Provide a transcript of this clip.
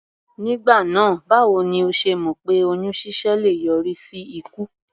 Nígbà náà báwo ni o ṣe mọ̀ pé oyún ṣíṣẹ́ le yọrí sí ikú?